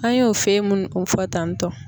An y'o fɛn minnu kofɔ tan tɔ.